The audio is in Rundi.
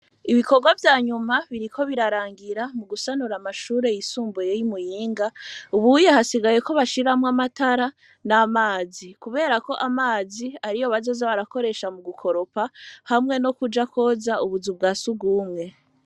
Ibikorwa vya nyuma biri ko birarangira mu gusanura amashure yisumbuyey'imuyinga ubuye hasigaye ko bashiramwo amatara n'amazi, kubera ko amazi ari yo bazoze barakoresha mu gukoropa hamwe no kuja kwoza ubuza bwa siugumwe.